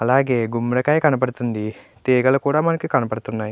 అలాగే గుమ్మడి కయ కనబడుతూ వుంది తెగల్లు కూడా కనిపిస్తుంది.